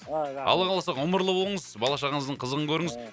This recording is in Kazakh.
алла қаласа ғұмырлы болыңыз бала шағаңыздың қызығын көріңіз ыыы